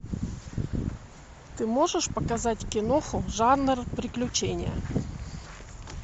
ты можешь показать киноху жанр приключения